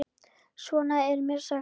Svo er mér sagt.